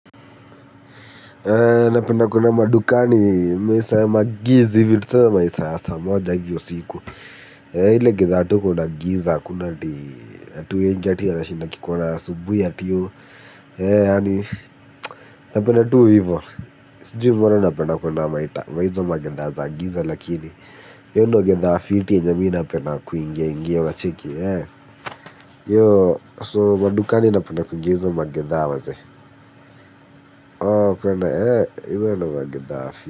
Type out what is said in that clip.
Na penda kuenda madukani maisa ya magiz hivi tuseme saa maisa yasaa moja hivyo siku eeh ile gidha kuna giza hakun ati watu wenge ati ya rashi naki kuna subuhi ati oo. Na penda tuu ivo. Sijui mbona na penda kuenda hizo magendha za giza lakini hio ndio gedha fiti nyenye mi na penda kuingia ingia wacheki So madukani na penda kuingia hiso magendha maze. Kwa na hivyo na magendha fiti.